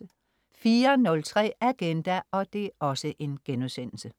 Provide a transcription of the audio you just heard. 04.03 Agenda*